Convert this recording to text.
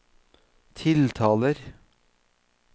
tiltaler